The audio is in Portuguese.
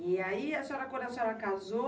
E aí a senhora, quando a senhora casou,